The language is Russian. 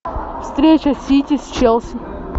встреча сити с челси